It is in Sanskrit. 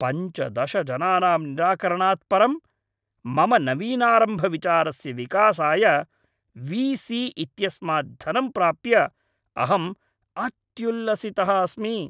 पञ्चदश जनानां निराकरणात् परं मम नवीनारम्भविचारस्य विकासाय वी सी इत्यस्मात् धनं प्राप्य अहम् अत्युल्लसितः अस्मि।